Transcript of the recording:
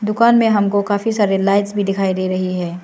दुकान हमको काफी सारे लाइट्स भी दिखाई दे रही है।